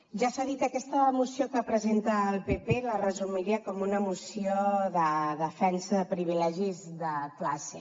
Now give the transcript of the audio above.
ja s’ha dit aquesta moció que presenta el pp la resumiria com una moció de defensa de privilegis de classe